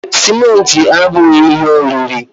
Sịmentị abughị ihe oriri